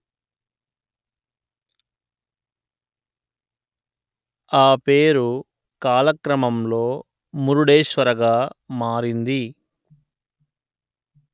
ఆపేరు కాలక్రమంలో మురుడేశ్వర గా మారింది